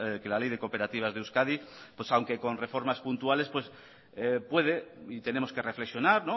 que la ley de cooperativas de euskadi aunque con reformas puntuales puede y tenemos que reflexionar